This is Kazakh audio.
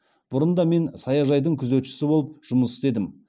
бұрында мен саяжайдың күзетшісі болып жұмыс істедім